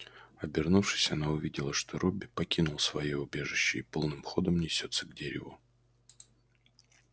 обернувшись она увидела что робби покинул своё убежище и полным ходом несётся к дереву